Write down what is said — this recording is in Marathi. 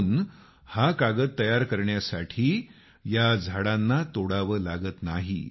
म्हणून हा कागद तयार करण्यासाठी या झाडांना तोडावं लागत नाही